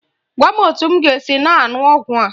Gwa m etu m ga-esi na-aṅụ ọgwụ a.